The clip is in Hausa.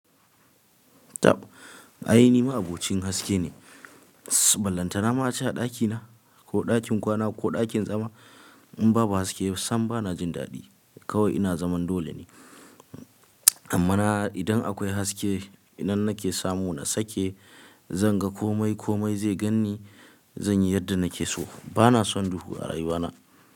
Tab, ai ni ma abokin haske ne. Ballanta na ma a ci a ɗakina ko ɗakin kwana ko ɗakin zama in babu haske sam ba na jin daɗi. Kawai ina zaman dole ne. Amma na idan akwai haske, idan nake samu na sake, zan ga kome, kome zai gan ni, zan yi yadda nake so. Ba na son duhu a rayuwana.